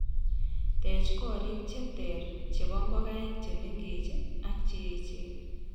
Teech koriik che ter chebo ngokaik che mengech ak che echen.